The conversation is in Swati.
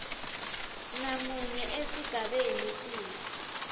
namunye esigabeni c